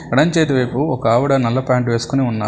ఎడంచేతి వైపు ఒకావిడ నల్ల ప్యాంటు వేసుకొని ఉన్నా--